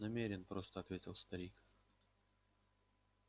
намерен просто ответил старик